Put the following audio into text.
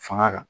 Fanga kan